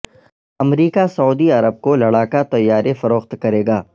امریکہ سعودی عرب کو لڑاکا طیارے فروخت کرے گا